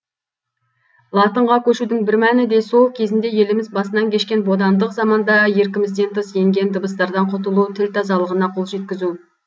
латынға көшудің бір мәні де сол кезінде еліміз басынан кешкен бодандық заманда еркімізден тыс енген дыбыстардан құтылу тіл тазалығына қол жеткізу